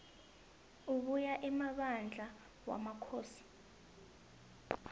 abuya emabandla wamakhosi